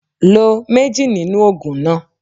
Lo mejì nínú ògùn náà